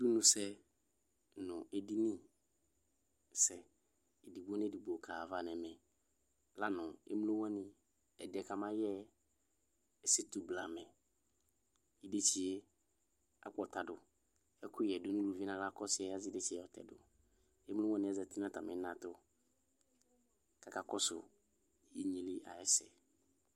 Inusɛ nu edinisɛ edigno nedigbo kaɣayava nɛmɛLanu emlo wani ɛdiɛ kamayɛɛ ɛsetu blamɛIdetsie akpɔtaduƐkʋyɛ du nuluvie naɣla, kɔsiɛ asidetsieEmlo wani zati natamina tuAkakɔsu inyeli ayɛsɛ